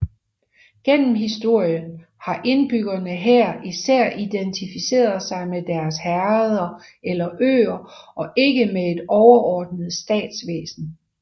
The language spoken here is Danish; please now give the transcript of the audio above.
Gennem historien har indbyggerne her især identificeret sig med deres herreder eller øer og ikke med et overordnet statsvæsen